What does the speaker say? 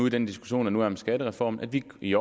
i den diskussion der nu er om skattereformen at vi i